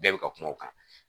Bɛɛ bɛ ka kuma o kan